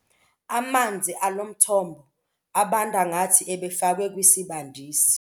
Amanzi alo mthombo abanda ngathi ebefakwe kwisibandisi.